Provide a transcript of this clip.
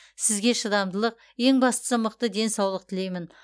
сізге шыдамдылық ең бастысы мықты денсаулық тілеймін